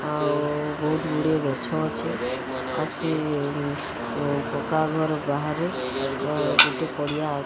ଆଉ ବହୁତ ଗୁଡିଏ ଗଛ ଅଛି ଅସି ପକା ଘର ବାହାରେ ଗୋଟେ ପଡିଆ --